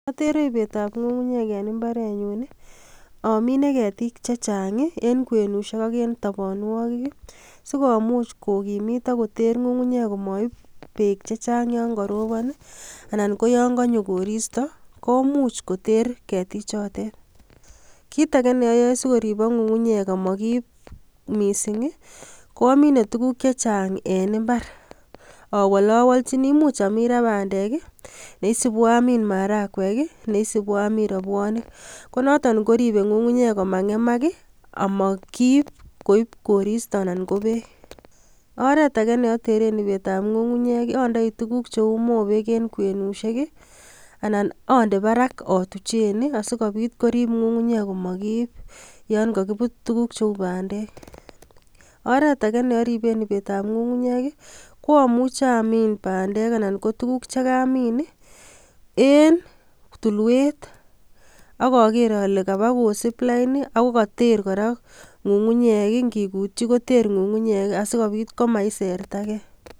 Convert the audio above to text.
Atere ibeetab beek en imabrenyun i,amine kekiitik chechang en kwenusiek ak en toboonikik simomuch kokimiit ak koteer ngungunyek komoib beek chechang yon korobon I,anan koyon konyoo koristoo komuch koter ketichotet. Kitage neoyoe sikoriibok ngungunyek amo kiib missing, koamine tuguuk chechang en imbar, awolowolchini much Amira bandek neisibu Amin maharagwek ak neisibu amin robwonik konoton koribe ngungunyek komangemak i,asimokiib koib koristo anan ko beek. Oretage neoteren ibeetab ngungunyek ondoi tuguuk cheu mobeg en kwenusiek I,anan ondoo barak otuchen I asikoobit ngungunyek komokiib nyon kokibuut tuguk cheu bandek. Oretage neoriben ibetab ngungunyek ko omuche amin bandek anan ko tuguk chekamin an ele tulwet ak oger ale kabaa kosiib lain I,akoketeer kora ngungunyek singikutyii koter ngungunyek asikoobiit komaisertage